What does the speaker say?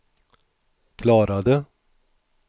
klarade